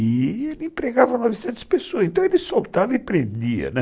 E ele empregava novecentas pessoas, então ele soltava e prendia, né.